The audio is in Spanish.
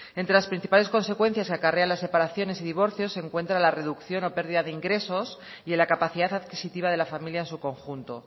entre las principales consecuencias que acarrea las separaciones y divorcios se encuentran la reducción o pérdida de ingresos y en la capacidad adquisitiva de la familia en su conjunto